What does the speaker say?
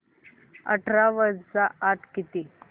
अठरा वजा आठ किती